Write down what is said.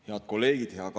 Head kolleegid!